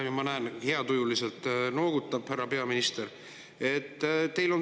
Ja ma näen, et härra peaminister noogutab heatujuliselt.